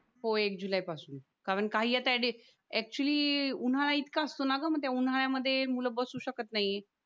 हो एक जुलैपासून कारण काय आहे ते ऍक्च्युली उन्हाळा इतका सुनागम त्या उन्हाळ्यामध्ये मुलं बसू शकत नाही